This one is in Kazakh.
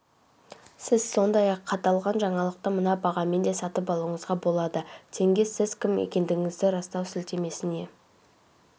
сіз сондай-ақ аталған жаңалықты мына бағамен де сатып алуыңызға болады тенге сіз кім екендігіңізді растау сілтемесіне